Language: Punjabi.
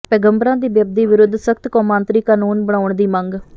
ਪੈਗੰਬਰਾਂ ਦੀ ਬੇਅਦਬੀ ਵਿਰੁੱਧ ਸਖ਼ਤ ਕੌਮਾਂਤਰੀ ਕਾਨੂੰਨ ਬਣਾਉਣ ਦੀ ਮੰਗ